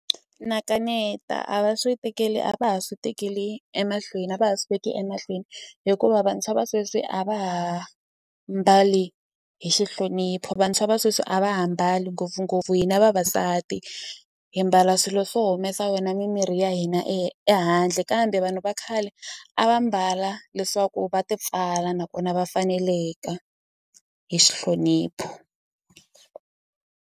Na kaneta a va swi tekeli a va ha swi tekeli emahlweni a va ha swi veki emahlweni hikuva vantshwa va sweswi a va ha mbali hi xi nhlonipho vantshwa va sweswi a va ha mbali ngopfungopfu hina vavasati hi mbala swilo swo humesa wena mimiri ya hina ehandle kambe vanhu va khale a va mbala leswaku va ti pfala nakona va faneleka hi xi nhlonipho.